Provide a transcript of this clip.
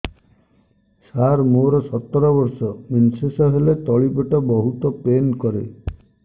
ସାର ମୋର ସତର ବର୍ଷ ମେନ୍ସେସ ହେଲେ ତଳି ପେଟ ବହୁତ ପେନ୍ କରେ